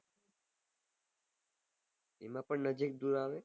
એમાં પન